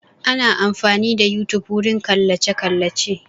Ana amfani da yotube wurin kallace kallace